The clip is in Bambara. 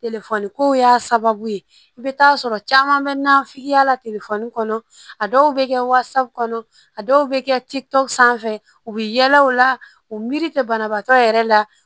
Telefɔni kow y'a sababu ye i bɛ taa sɔrɔ caman bɛ nafiya la telefɔni kɔnɔ a dɔw bɛ kɛ kɔnɔ a dɔw bɛ kɛ tikitu sanfɛ u bɛ yala u la u miiri tɛ banabaatɔ yɛrɛ la